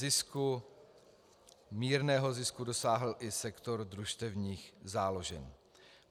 Zisku, mírného zisku, dosáhl i sektor družstevních záložen.